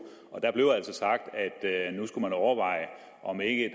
og der blev altså sagt at nu skulle man overveje om ikke